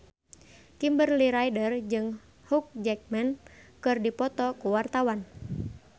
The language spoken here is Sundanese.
Kimberly Ryder jeung Hugh Jackman keur dipoto ku wartawan